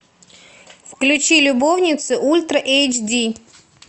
включи любовницы ультра эйч ди